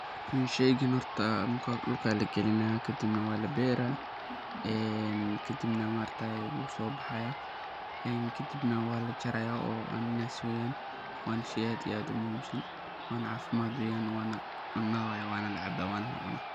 Marka hore dhulka aya lagalina kadibna walabera kadibna maaragta wusobaxaya kadibna walajaraya oo cananas weyaan wana shey aad iyo aad umuhiimsan wana dawa weyan wanalacaba.